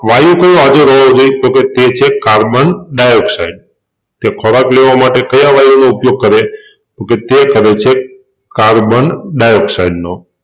વાયુ carbon dioxide તે ખોરાક લેવા માટે કયા વાયુનો ઉપયોગ કરે તોકે તે કરે છે કાર્બન ડાયોક્સાઈડ નો